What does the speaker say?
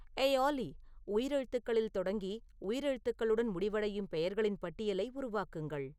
ஏய் ஆல்லி உயிர் எழுத்துக்களில் தொடங்கி உயிரெழுத்துக்களுடன் முடிவடையும் பெயர்களின் பட்டியலை உருவாக்குங்கள்